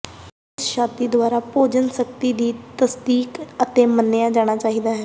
ਇਸ ਛਾਤੀ ਦੁਆਰਾ ਭੋਜਨ ਸਖਤੀ ਦੀ ਤਸਦੀਕ ਅਤੇ ਮੰਨਿਆ ਜਾਣਾ ਚਾਹੀਦਾ ਹੈ